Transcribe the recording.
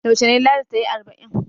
Yaushe ne Ladi ta yi arba'in?